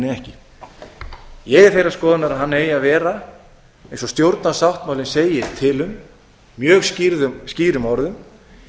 ekki ég er þeirrar skoðunar að hann eigi að vera eins og stjórnarsáttmálinn segir til um mjög skýrum orðum